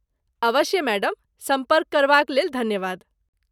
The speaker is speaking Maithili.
अवश्य , मैडम। सम्पर्क करबा क लेल धन्यवाद।